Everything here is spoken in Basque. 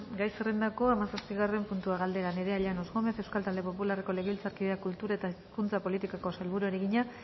gai zerrendako hamazazpigarren puntua galdera nerea llanos gómez euskal talde popularreko legebiltzarkideak kultura eta hizkuntza politikako sailburuari egina